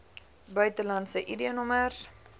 buitelandse id nommers